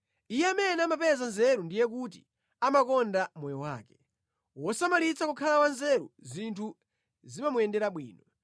Iye amene amapeza nzeru ndiye kuti amakonda moyo wake. Wosamalitsa kukhala wanzeru, zinthu zimamuyendera bwino.